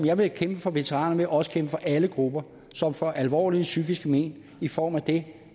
jeg vil kæmpe for veteranerne også kæmpe for alle grupper som får alvorlige psykiske men i form af det